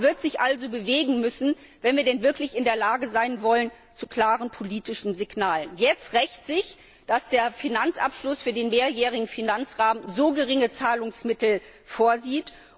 Der Rat wird sich also bewegen müssen, wenn wir denn wirklich in der Lage sein wollen, klare politische Signale zu geben. Jetzt rächt sich, dass der Finanzabschluss für den mehrjährigen Finanzrahmen so geringe Zahlungsmittel vorsieht.